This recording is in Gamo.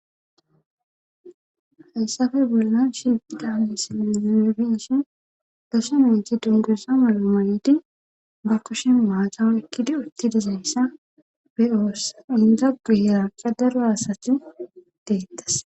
Hayssafe bollan shifidamisinne zinibinshin dasha miti dundusa malamayidi ba kushin maataw ekkidi utti dizayssa be oossa inda gu yeranqa daro asathi deettas.